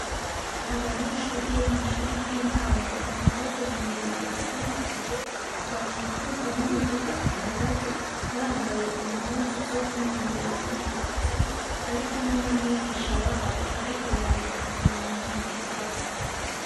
Abanyeshure bo mw'ishure ry'intango bahagaze mu ibarabara ry'amabuye bakikujwe n'imiduga ihagaze bambaye impuzu zo kwinonoreramwo imitsi barikumwe n'amwigisha wabo ariko yandika ibintu mu gitabo.